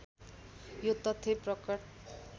यो तथ्य प्रकट